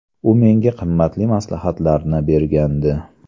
U menga qimmatli maslahatlarni bergandi.